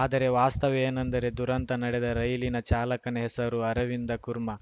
ಆದರೆ ವಾಸ್ತವ ಏನೆಂದರೆ ದುರಂತ ನಡೆದ ರೈಲಿನ ಚಾಲಕನ ಹೆಸರು ಅರವಿಂದ ಕುರ್ಮಾ